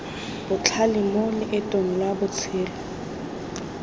botlhale mo loetong lwa botshelo